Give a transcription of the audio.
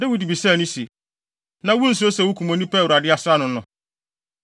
Dawid bisaa no se, “Na wunsuro sɛ wukum obi a Awurade asra no no?”